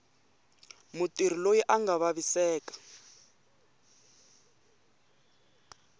mutirhi loyi a nga vaviseka